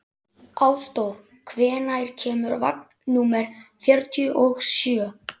Ásdór, hvenær kemur vagn númer fjörutíu og sjö?